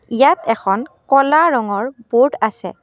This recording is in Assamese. ইয়াত এখন ক'লা ৰঙৰ ব'ৰ্ড আছে।